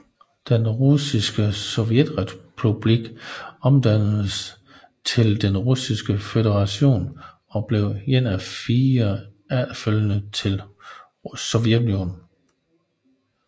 Den Russiske Sovjetrepublik omdannedes til Den Russiske Føderation og blev en af fire efterfølgere til Sovjetunionen